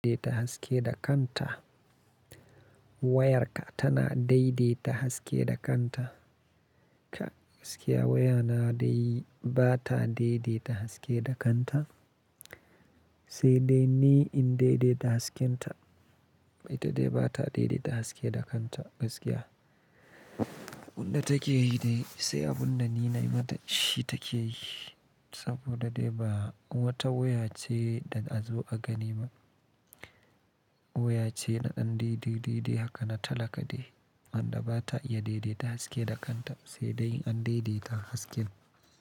Daidaita haske da kanta. Wayarka tana daidaita haske da kanta. Gaskiya waya na dai ba ta daidaita haske da kanta, sai dai ni in daidaita hasken ta. Ma ita dai ba ta daidaita haske da kanta gaskiya. Abun da take yi dai, sai abun da ni na yi ma ta shi take yi. Saboda dai ba wata waya ce da a zo a gani ba. Waya ce na an daidai dai haka na talaka dai. An da ba ta iya daidaita haske da kanta sai dai in an daidaita hasken.